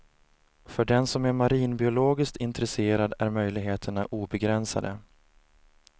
För den som är marinbiologiskt intresserad är möjligheterna obegränsade.